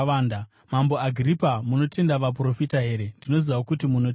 Mambo Agiripa munotenda vaprofita here? Ndinoziva kuti munotenda.”